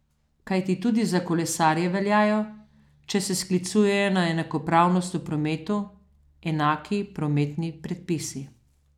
Kajti tudi za kolesarje veljajo, če se sklicujejo na enakopravnost v prometu, enaki prometni predpisi.